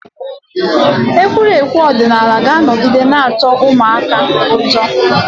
Egwuregwu ọdịnala ga-anọgide na-atọ ụmụaka ụtọ